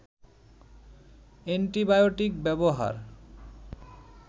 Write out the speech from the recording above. antibiotic ব্যবহার